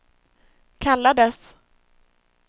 kallades